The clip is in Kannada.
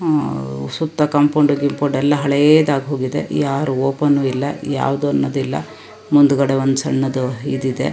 ಅಅ ಸುತ್ತ ಕಾಂಪೌಂಡ್ ಗಿಂಪೌಂಡ್ ಎಲ್ಲಾ ಹಳೇದಾಗ್ ಹೋಗಿದೆ ಯಾರು ಓಪನು ಇಲ್ಲಾ ಯಾವದನ್ನೋದು ಇಲ್ಲಾ ಮುಂದಗಡೆ ಒಂದು ಸಣ್ಣದು ಇದಿದೆ .